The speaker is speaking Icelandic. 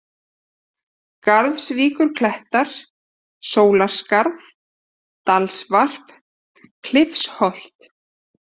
Garðsvíkurklettar, Sólarskarð, Dalsvarp, Klifsholt